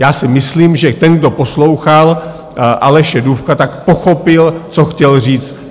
Já si myslím, že ten, kdo poslouchal Aleše Dufka, tak pochopil, co chtěl říct.